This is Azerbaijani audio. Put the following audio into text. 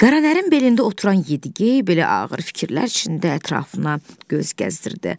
Qara Nərənin belində oturan Yedi-gey belə ağır fikirlər içində ətrafına göz gəzdirirdi.